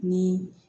Ni